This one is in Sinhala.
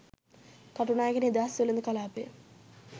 කටුනායක නිදහස් වෙළෙඳ කළාපය